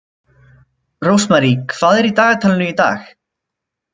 Rósmarý, hvað er í dagatalinu í dag?